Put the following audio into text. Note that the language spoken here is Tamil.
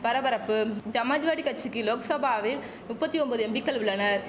பரபரப்பும் சமாஜ்வாடி கச்சிக்கு லோக்சபாவில் நுப்பத்தி ஒம்பது எம்பிக்கள் உள்ளனர்